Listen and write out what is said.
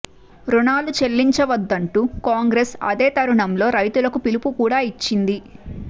రుణాలు చెల్లించద్దంటూ కాంగ్రెస్ అదే తరుణంలో రైతులకు పిలుపు కూడా ఇచ్చింది